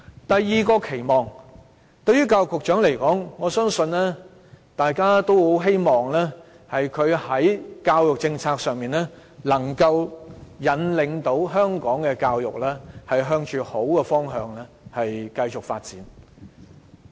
第二個對教育局局長的期望，我相信大家都希望他的教育政策，能夠引領香港的教育向着好的方向繼續發展。